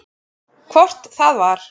Hvort það var!